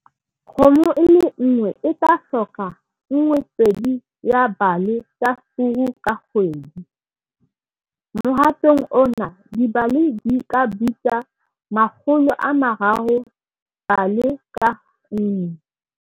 Kgomo e le nngwe e tla hloka 1,2 ya bale tsa furu ka kgwedi. Mohatong ona, dibale di bitsa R300 bale ka nngwe.